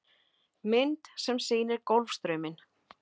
Mynd sem sýnir Golfstrauminn.